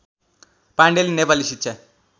पाण्डेले नेपाली शिक्षा